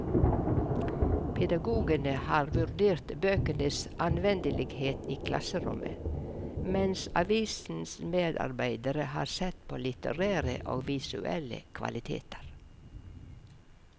Pedagogene har vurdert bøkenes anvendelighet i klasserommet, mens avisens medarbeidere har sett på litterære og visuelle kvaliteter.